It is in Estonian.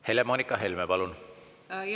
Helle-Moonika Helme, palun!